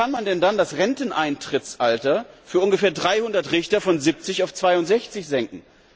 Wie kann man denn dann das Renteneintrittsalter für ungefähr 300 Richter von 70 auf 62 Jahre senken?